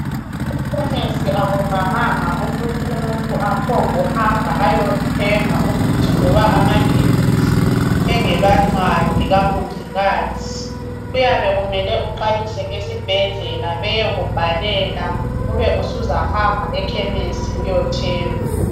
Ekhemisi akuvamanga ukuthi umuntu aphonguhamba ayothenga umuthi loba amaphilisi, engela ncwadi kamongikazi. Kuyabe kumele uqalise esibhedlela beyekubhalela ube usuzahamba ekhemisi uyothenga.